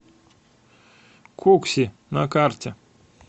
кукси на карте